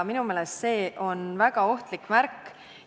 Minu arust on see väga ohtlik märk.